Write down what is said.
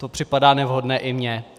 To připadá nevhodné i mně.